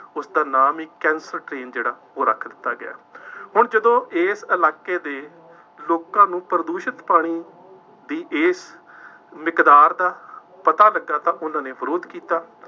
ਉਸਦਾ ਨਾਮ ਹੀ ਕੈਂਸ਼ਰ ਟਰੇਨ, ਜਿਹੜਾ ਉਹ ਰੱਖ ਦਿੱਤਾ ਗਿਆ, ਹੁਣ ਜਦੋਂ ਇਸ ਇਲਾਕੇ ਦੇ ਲੋਕਾਂ ਨੂੰ ਪ੍ਰਦੂਸ਼ਿਤ ਪਾਣੀ ਬਈ ਇਸ ਮਿਕਦਾਰ ਦਾ ਪਤਾ ਲੱਗਾ ਤਾਂ ਉਹਨਾ ਨੇ ਵਿਰੋਧ ਕੀਤਾ।